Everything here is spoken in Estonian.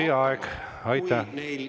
Teie aeg!